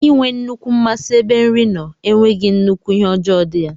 Inwee nnukwu mmasi ebe nri nno enweghi nnukwu ihe ọjọ di ya.